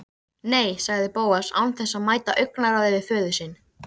Nei- sagði Bóas án þess að mæta augnaráði föður síns.